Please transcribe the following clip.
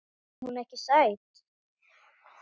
Finnst þér hún ekki sæt?